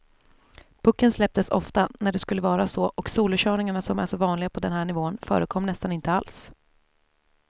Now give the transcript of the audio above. Pucken släpptes ofta när det skulle vara så och solokörningarna som är så vanliga på den här nivån förekom nästan inte alls.